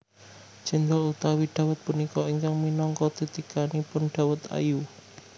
Céndhol utawi dawet punika ingkang minangka titikanipun dawet ayu